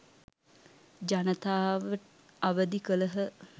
ජනතාව අවදි කළහ.